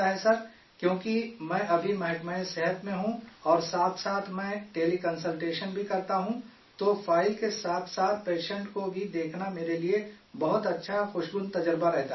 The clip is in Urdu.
کیوں کہ میں ابھی ہیلتھ ڈپارٹمنٹ میں ہوں اور ساتھ ساتھ میں ٹیلی کنسلٹیشن بھی کرتا ہوں تو فائل کے ساتھ ساتھ پیشنٹ کو بھی دیکھنا میرے لیے بہت اچھا، خوشگوار تجربہ رہتاہ ے